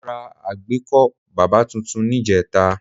Mo ra àgbékọ́ bábà tuntun níjẹta